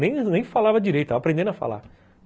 Nem falava direito, aprendendo a falar.